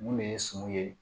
Mun de ye suman ye